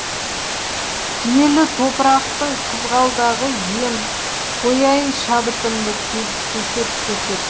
киелі топырақтың қызғалдағы ем қояйын шабытымды көсеп көсеп